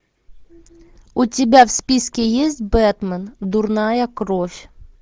у тебя в списке есть бэтмен дурная кровь